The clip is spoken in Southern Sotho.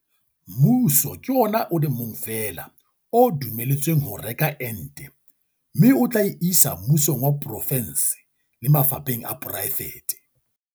Mmuso ke ona o le mong fela o dumelletsweng ho reka ente mme o tla e isa mmusong wa porofense le mafapheng a poraefete.